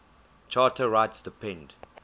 charter rights depend